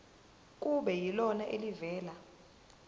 kube yilona elivela